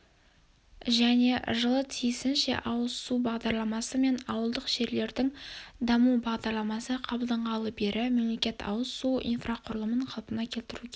және жылы тиісінше ауыз су бағдарламасы мен ауылдық жерлердің дамуы бағдарламасы қабылданғалы бері мемлекет ауыз су инфрақұрылымын қалпына келтіруге